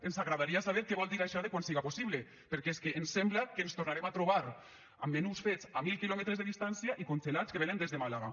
ens agradaria saber què vol dir això de quan siga possible perquè és que ens sembla que ens tornarem a trobar amb menús fets a mil quilòmetres de distància i congelats que venen des de màlaga